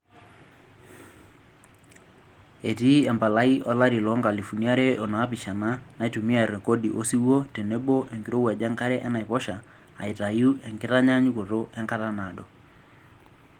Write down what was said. Etii empalai olari loonkalifuni are onaapishana naitumia rekodi osiwuo tenebo enkirowuaj enkare enaiposha aitayu enkitanyaanyukoto enkata naado.